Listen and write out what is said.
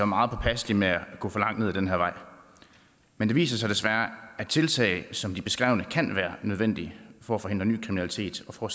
meget påpasselig med at gå for langt ned ad den her vej men det viser sig desværre at tiltag som de beskrevne kan være nødvendige for at forhindre ny kriminalitet og for